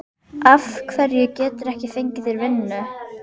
Af hverju geturðu ekki fengið þér vinnu?